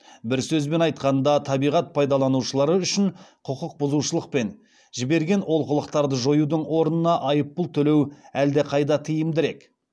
бір сөзбен айтқанда табиғат пайдаланушылары үшін құқықбұзушылық пен жіберген олқылықтарды жоюдын орнына айыппұл төлеу әлдеқайда тиімдірек